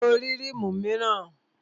Ṣé o ní rímù míràn?